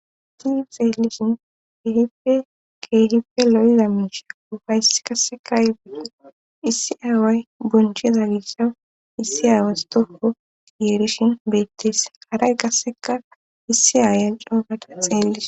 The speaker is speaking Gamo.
ti xeelishin keehife keehipe lo7iza miisha ufayssi kasseka ibida issi aaway boncheza gissaw issi aawas tokko yeerishin beettees haray qasseka issi aaya coogata xeellise